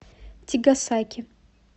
тигасаки